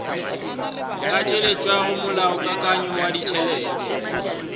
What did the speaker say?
ka tšweletšago molaokakanywa wa ditšhelete